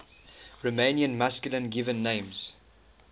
romanian masculine given names